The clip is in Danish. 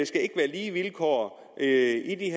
skal ikke være lige vilkår i